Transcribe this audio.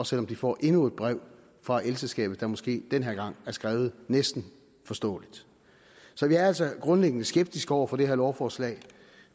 selv om de får endnu et brev fra elselskabet der måske den her gang er skrevet næsten forståeligt så vi er altså grundlæggende skeptiske over for det her lovforslag